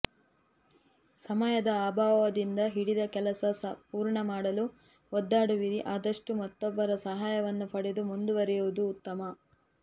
ಸಮಯದ ಅಭಾವದಿಂದ ಹಿಡಿದ ಕೆಲಸ ಪೂರ್ಣ ಮಾಡಲು ಒದ್ದಾಡುವಿರಿ ಆದಷ್ಟು ಮತ್ತೊಬ್ಬರ ಸಹಾಯವನ್ನು ಪಡೆದು ಮುಂದುವರೆಯುವುದು ಉತ್ತಮ